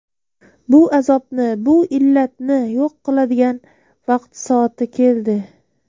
Bu azobni, bu illatni yo‘q qiladigan vaqti-soati keldi.